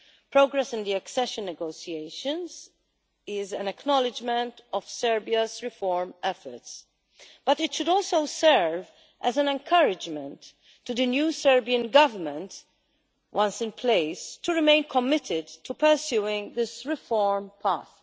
Progress in the accession negotiations is an acknowledgment of Serbia's reform efforts, but it should also serve as an encouragement to the new Serbian Government, once in place, to remain committed to pursuing this reform path.